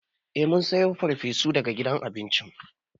Eh mun sayo farfesu daga gidan abinci.